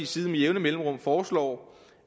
side med jævne mellemrum foreslår